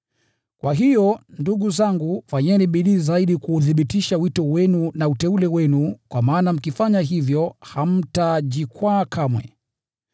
Kwa hiyo, ndugu zangu, fanyeni bidii zaidi kuuthibitisha wito wenu na uteule wenu. Kwa maana mkifanya hivyo, hamtajikwaa kamwe,